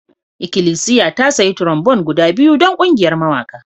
Ikilisiya ta sayi trombone guda biyu don ƙungiyar mawaƙa